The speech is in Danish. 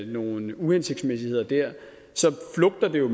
nogle uhensigtsmæssigheder der så flugter det jo